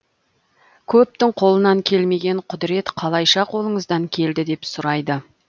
көптің қолынан келмеген құдірет қалайша қолыңыздан келді деп сұрайды